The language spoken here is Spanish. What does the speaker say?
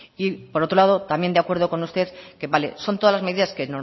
por otro lado también de acuerdo con usted que vale son todas las medidas que